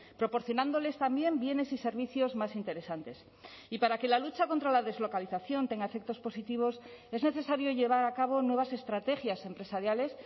proporcionándoles también bienes y servicios más interesantes y para que la lucha contra la deslocalización tenga efectos positivos es necesario llevar a cabo nuevas estrategias empresariales